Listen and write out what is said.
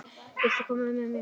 Viltu koma með okkur?